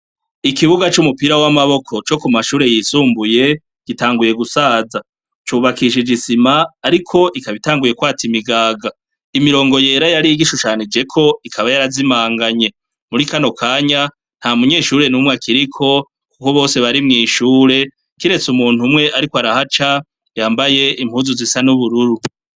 Ikibuga c'umupira w'amaboko co ku mashure yisumbuye gitanguye gusaza. Cubakishije isima ariko itanguye kwata imigaga. Imirongo yera yari igishushanijeko ikaba yarazimanganye. Muri kano kanya, nta munyeshure numwe akiriko kuko bose bari mw'ishure kiretse umuntu umwe ariko arahaca yambaye impuzu zisa n'ubururu.